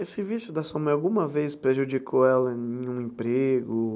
Esse vício da sua mãe, alguma vez prejudicou ela em um emprego?